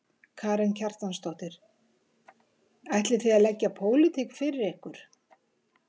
Karen Kjartansdóttir: Ætlið þið að leggja pólitík fyrir ykkur?